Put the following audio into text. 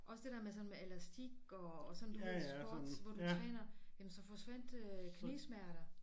Også det der med sådan med elastik og sådan du ved squats hvor du træner jamen så forsvandt øh knæsmerter